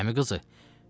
Əmiqızı.